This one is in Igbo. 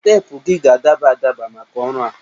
Teepụ gị ga-adaba adaba maka ọrụ a